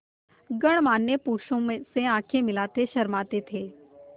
गणमान्य पुरुषों से आँखें मिलाते शर्माते थे